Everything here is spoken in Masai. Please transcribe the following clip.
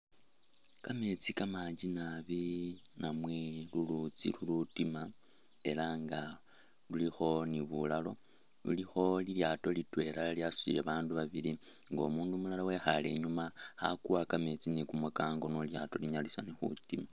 Kameetsi kamanji naabi namwe lulutsi lutima ela nga lulikho ni bulalo bulikho ilyato litwela lyasutile babandu babili umundu lumulala wekhale inyuma khakuwa kameetsi no ilyato linyalise khutima.